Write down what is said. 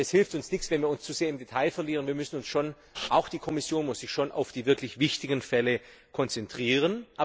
Denn es hilft uns nichts, wenn wir uns zu sehr im Detail verlieren, wir müssen uns und auch die Kommission muss sich schon auf die wirklich wichtigen Fälle konzentrieren.